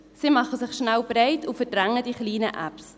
Sie machen sich schnell breit und verdrängen die kleinen Apps.